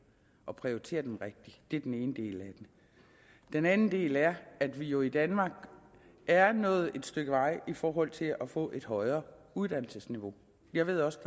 og prioriterer dem rigtigt det er den ene del af det den anden del er at vi jo i danmark er nået et stykke vej i forhold til at få et højere uddannelsesniveau jeg ved også